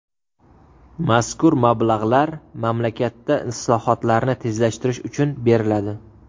Mazkur mablag‘lar mamlakatda islohotlarni tezlashtirish uchun beriladi.